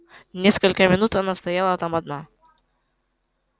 несколько минут она стояла там одна